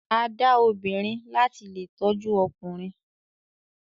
A da obìrin lati lè tọjú ọkùnrin.